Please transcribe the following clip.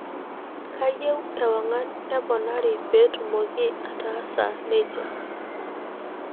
kayieu ewangan neponari petumoki ataasa nija